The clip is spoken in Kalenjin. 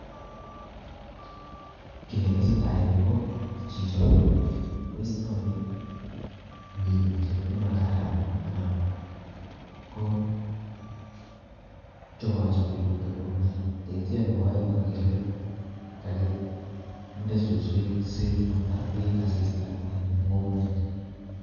Kii ne tesei tai eng yu ko chicho ko istoi minutiet ne ma kararan anan ko chopachopi ko teb komie, neitio nebo oeng agere kakinde suswek si matar beek asista eng ng'ung'unyek